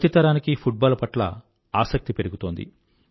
ప్రతి తరానికీ football పట్ల ఆసక్తి పెరుగుతోంది